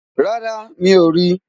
rárá, mi ò rí i